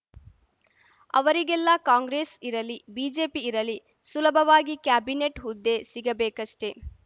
ಅವರಿಗೆಲ್ಲ ಕಾಂಗ್ರೆಸ್‌ ಇರಲಿ ಬಿಜೆಪಿ ಇರಲಿ ಸುಲಭವಾಗಿ ಕ್ಯಾಬಿನೆಟ್‌ ಹುದ್ದೆ ಸಿಗಬೇಕಷ್ಟೆ